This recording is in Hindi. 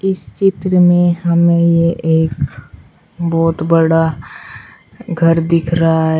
इस चित्र में हमें ये एक बहुत बड़ा घर दिख रहा है।